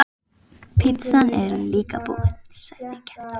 Pitsan er líka búin, sagði Gerður.